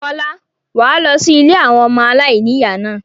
Fọlá, wà á lọ sí ilé àwọn ọmọ aláìníìyá náà.